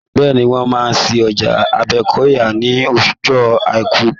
Bẹ́ẹ̀ni, wọn máa ṣí ọjà Àgbẹ́kọ̀yà ní ọjọ́ àìkú.